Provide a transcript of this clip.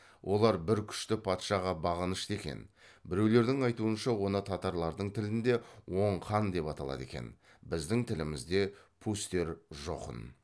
олар бір күшті патшаға бағынышты екен біреулердің айтуынша оны татарлардың тілінде оң хан деп аталады екен біздің тілімізде пустер жохн